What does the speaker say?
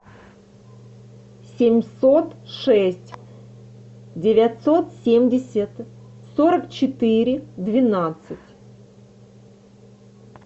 семьсот шесть девятьсот семьдесят сорок четыре двенадцать